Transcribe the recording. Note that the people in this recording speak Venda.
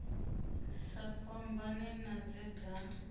sa fhambani na dze dza